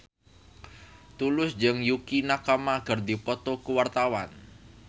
Tulus jeung Yukie Nakama keur dipoto ku wartawan